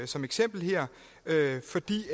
som eksempel her fordi